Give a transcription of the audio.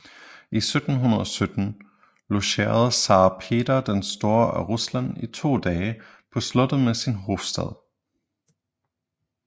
I 1717 logerede zar Peter den store af Rusland i to dage på slottet med sin hofstat